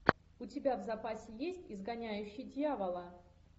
у тебя в запасе есть изгоняющий дьявола